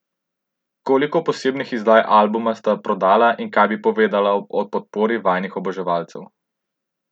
Koliko posebnih izdaj albuma sta prodala in kaj bi povedala o podpori vajinih oboževalcev?